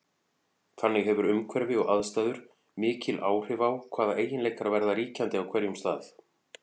Þannig hefur umhverfi og aðstæður mikil áhrif á hvaða eiginleikar verða ríkjandi á hverjum stað.